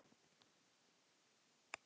Erla: Eru þetta góð laun?